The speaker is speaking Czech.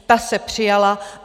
Ta se přijala.